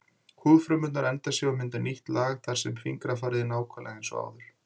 Húðfrumurnar endurnýja sig og mynda nýtt lag þar sem fingrafarið er nákvæmlega eins og áður.